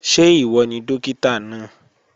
Ṣé ìwọ ni Dókítà náà?